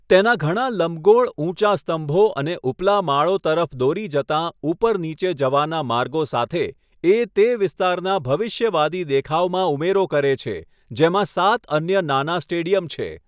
તેના ઘણા લંબગોળ ઊંચા સ્તંભો અને ઉપલા માળો તરફ દોરી જતાં ઉપર નીચે જવાના માર્ગો સાથે, એ તે વિસ્તારના ભવિષ્યવાદી દેખાવમાં ઉમેરો કરે છે, જેમાં સાત અન્ય નાના સ્ટેડિયમ છે.